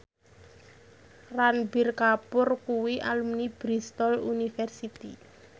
Ranbir Kapoor kuwi alumni Bristol university